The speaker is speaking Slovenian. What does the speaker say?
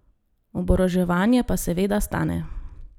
Oboroževanje pa seveda stane.